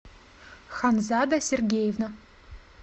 ханзада сергеевна